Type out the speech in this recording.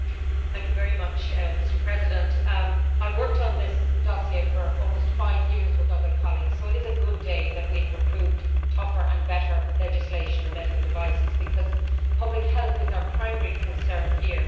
Mr President, I have worked on this dossier for almost five years with other colleagues, so it is a good day that we have approved tougher and better legislation on medical devices because public health is our primary concern here and that is vital.